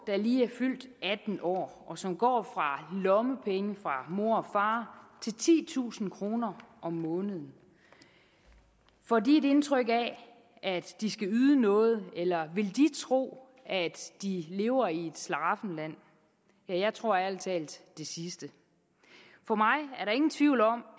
lige er fyldt atten år og som går fra lommepenge fra mor og far til titusind kroner om måneden får de et indtryk af at de skal yde noget eller vil de tro at de lever i et slaraffenland jeg tror ærlig talt det sidste for mig er der ingen tvivl om